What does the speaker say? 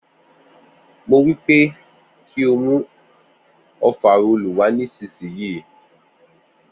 Mo wípé kí o mú ofarọ́ọ̀lù wa nísìsiyìí